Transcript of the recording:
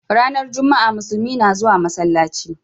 Ranar Juma'a Muslumi na zuwa masallaci.